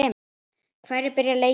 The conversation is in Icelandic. Hverjir byrja leikinn?